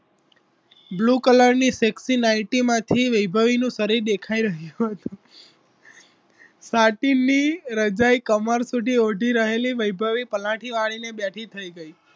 blue colour ની sexy nighti માંથી વૈભવી નું શરીર દેખાય રહ્યું હતું ફાટેલી રજાઈ કમર સુધી ઓઢઈ વૈભવી પલાઠી વાળીને બેઠી થઈ ગઈ